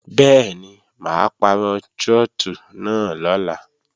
Bẹ́ẹ̀ni, mà á pàrọ̀ trọ́tù náà lọ́la